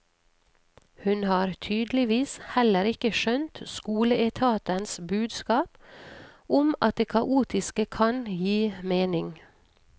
Hun har tydeligvis heller ikke skjønt skoleetatens budskap om at det kaotiske kan gi mening.